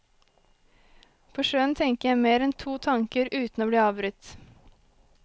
På sjøen tenker jeg mer enn to tanker uten å bli avbrutt.